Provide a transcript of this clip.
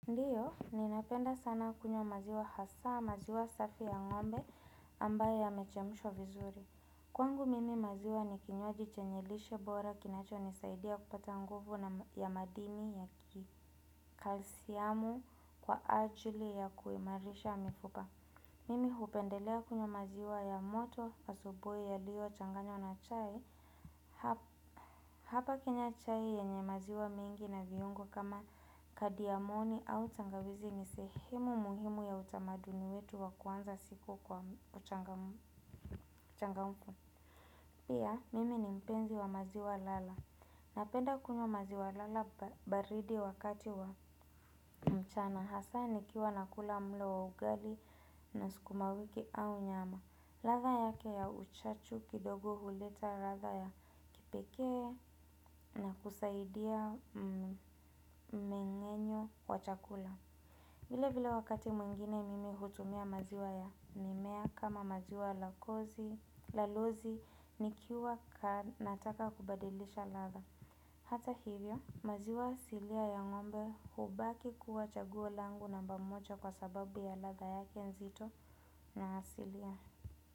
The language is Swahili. Ndiyo, ninapenda sana kunywa maziwa hasaa, maziwa safi ya ngombe ambayo yamechemshwa vizuri. Kwangu mimi maziwa ni kinywaji chanye lishe bora kinacho nisaidia kupata nguvu ya madini ya kalsiamu kwa ajili ya kuimarisha mifupa. Mimi hupendelea kunywa maziwa ya moto asubuhi yaliyochanganywa na chai. Hapa kunywa chai yenye maziwa mengi na viungo kama kadiamoni au tangawizi ni sehemu muhimu ya utamaduni wetu wa kuanza siku kwa uchangamfu. Pia, mimi ni mpenzi wa maziwa lala. Napenda kunywa maziwa lala baridi wakati wa mchana. Hasaa nikiwa nakula mlo wa ugali na sukuma wiki au nyama ladha yake ya uchachu kidogo huleta ladha ya kipekee na kusaidia mmengenyo wa chakula. Vile vile wakati mwingine mimi hutumia maziwa ya mimea kama maziwa la kozi, la lozi, nikiwa nataka kubadilisha ladha. Hata hivyo, maziwa asilia ya ngombe hubaki kuwa chaguo langu namba moja kwa sababu ya ladha yake nzito na asilia.